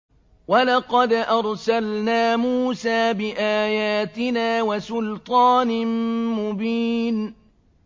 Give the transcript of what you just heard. وَلَقَدْ أَرْسَلْنَا مُوسَىٰ بِآيَاتِنَا وَسُلْطَانٍ مُّبِينٍ